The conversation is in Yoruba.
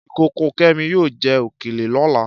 Ìkókó Kẹ́mi yóò jẹ òkèlè lọ́la.